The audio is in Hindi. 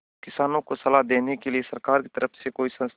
किसानों को सलाह देने के लिए सरकार की तरफ से कोई संस्था है